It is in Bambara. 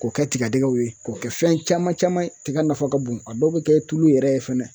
K'o kɛ tigadɛgɛw ye k'o kɛ fɛn caman caman ye tiga nafa ka bon a dɔw bi kɛ tulu yɛrɛ ye fɛnɛ